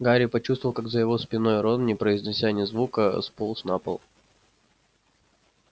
гарри почувствовал как за его спиной рон не произнеся ни звука сполз на пол